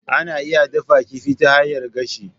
Ana iya dafa kifi ta hanyar gashi.